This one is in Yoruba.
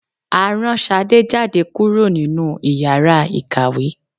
à raǹ sàdé jadé kúrò ninú ìyára ikáwe